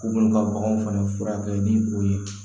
K'u bolo ka baganw fana furakɛ ni o ye